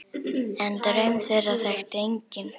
En draum þeirra þekkti enginn.